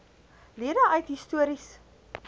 lede uit histories